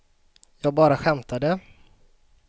jag bara skämtade